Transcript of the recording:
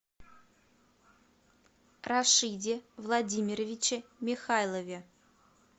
рашиде владимировиче михайлове